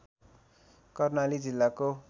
कर्णाली जिल्लाको